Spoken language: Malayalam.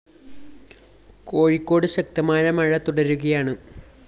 കോഴിക്കോട് ശക്തമായ മഴ തുടരുകയാണ്